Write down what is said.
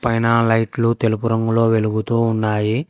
పైన లైట్లు తెలుపు రంగులో వెలుగుతూ ఉన్నాయి.